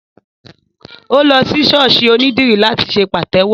Ó lọ sí ṣọ́ọ̀ṣì ònídìrí láti ṣe pàtẹ́wọ́